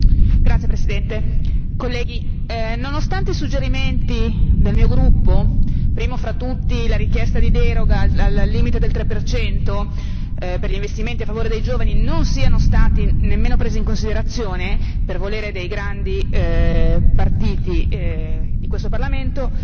Signor Presidente, onorevoli colleghi, nonostante i suggerimenti del mio gruppo primo fra tutti la richiesta di deroga al limite del 3 per gli investimenti a favore dei giovani non siano stati nemmeno presi in considerazione per volere dei grandi partiti di questo Parlamento,